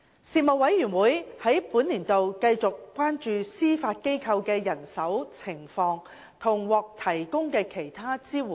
事務委員會在本年度繼續關注司法機構的人手情況及獲提供的其他支援。